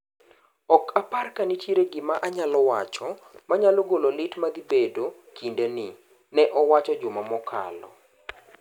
"Ok apar ka nitiere gima anyalo wacho manyalo golo lit madhii bed kinde ni,"ne owacho juma okalo.